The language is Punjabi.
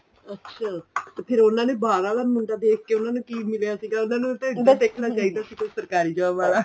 ਅੱਛਾ ਤੇ ਉਹਨਾ ਨੇ ਬਹਾਰ ਆਲਾ ਮੁੰਡਾ ਦੇਖਕੇ ਉਹਨਾ ਨੂੰ ਕੀ ਮਿਲਿਆ ਸੀ ਉਹਨਾ ਨੂੰ ਮੁੰਡਾ ਦੇਖਣਾ ਚਾਹੀਦਾ ਸੀ ਕੋਈ ਸਰਕਾਰੀ job ਵਾਲਾ